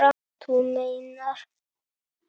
Þú meinar!